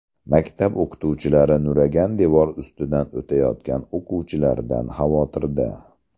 Maktab o‘qituvchilari nuragan devor ustidan o‘tayotgan o‘quvchilardan xavotirda.